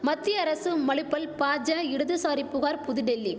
மத்திய அரசு மழுப்பல் பாஜா இடதுசாரி புகார் புதுடெல்லி